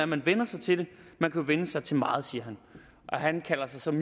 man vænner sig til det man kan jo vænne sig til meget siger han han kalder sig som